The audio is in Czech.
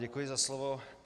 Děkuji za slovo.